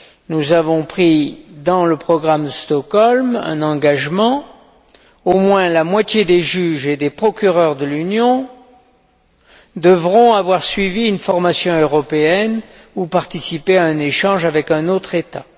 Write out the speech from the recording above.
Nous avons pris dans le programme Stockholm un engagement au moins la moitié des juges et des procureurs de l'Union devront avoir suivi une formation européenne ou participé à un échange avec un autre État.